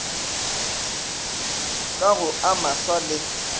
ka go a maswa le